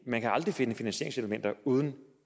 man kan aldrig finde finansieringselementer uden